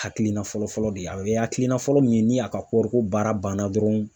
Hakilina fɔlɔfɔlɔ de ye a ye hakilina fɔlɔ min ye ni a ka koro ko baara banna dɔrɔn.